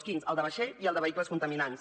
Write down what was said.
quins el de vaixells i el de vehicles contaminants